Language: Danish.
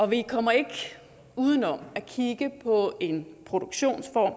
vi kommer ikke uden om at kigge på en produktionsform